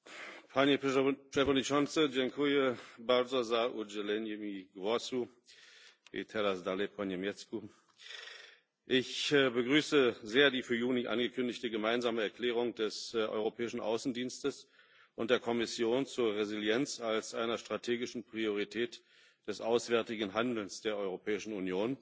Herr Präsident! Ich begrüße sehr die für Juni angekündigte gemeinsame Erklärung des Europäischen Auswärtigen Dienstes und der Kommission zur Resilienz als einer strategischen Priorität des auswärtigen Handelns der Europäischen Union.